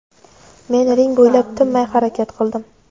Men ring bo‘ylab tinmay harakat qildim.